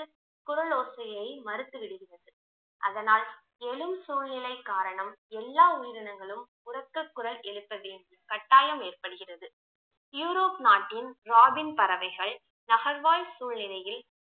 குரல் ஓசையை மறுத்து விடுகிறது அதனால் எழும் சூழ்நிலை காரணம் எல்லா உயிரினங்களும் உரக்க குரல் எழுப்ப வேண்டும் கட்டாயம் ஏற்படுகிறது யூரோப் நாட்டின் ராபின் பறவைகள் நகர்வாழ் சூழ்நிலையில்